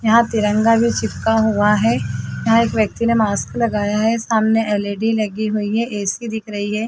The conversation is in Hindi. यहाँ तिरंगा भी चिपका हुआ है यहाँ एक व्यक्ति ने मास्क लगाया है सामने एल_इ_डी लगी हुई है ऐ_सी दिख रही है।